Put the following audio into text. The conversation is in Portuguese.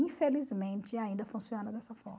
Infelizmente, ainda funciona dessa forma.